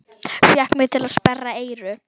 Fékk mig til að sperra eyru.